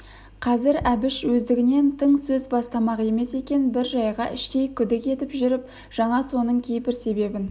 қазір әбіш өздігінен тың сөз бастамақ емес екен бір жайға іштей күдік етіп жүріп жаңа соның кейбір себебін